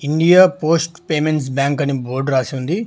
India post payments bank అని board రాసి ఉంది.